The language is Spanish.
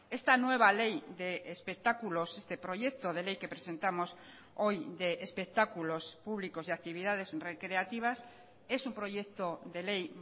esta nueva ley de espectáculos este proyecto de ley que presentamos hoy de espectáculos públicos y actividades recreativas es un proyecto de ley